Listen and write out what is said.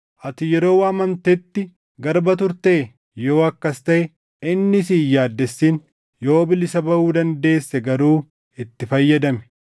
Ati yeroo waamamtetti garba turtee? Yoo akkas taʼe inni si hin yaaddessin; yoo bilisa baʼuu dandeesse garuu itti fayyadami.